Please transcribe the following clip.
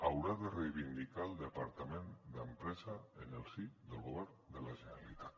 haurà de reivindicar el departament d’empresa en el si del govern de la generalitat